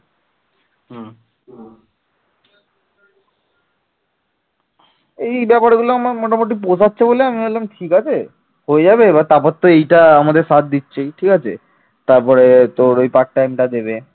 এই ব্যাপার গুলো আমার মোটামুটি বোঝাচ্ছে বলে আমি ভাবলাম ঠিক আছে হয়ে যাবে তারপর তো এটা আমাদের ছাড় দিচ্ছে ঠিক আছে তারপরে তোর ওই part time টা দেবে